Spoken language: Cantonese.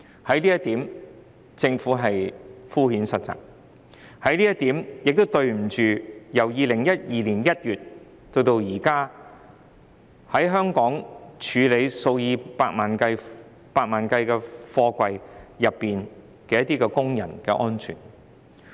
政府在這方面敷衍塞責，亦對不起由2012年1月至今，在香港處理數以百萬計貨櫃的工人。